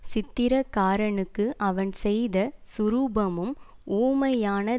சித்திரக்காரனுக்கு அவன் செய்த சுரூபமும் ஊமையான